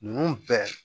Ninnu bɛɛ